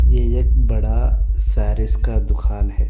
ये एक बड़ा सारीस का दुकान है।